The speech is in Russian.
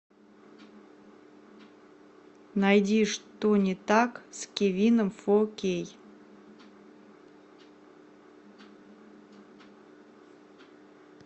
найди что не так с кевином фо кей